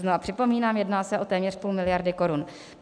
Znova připomínám, jedná se o téměř půl miliardy korun.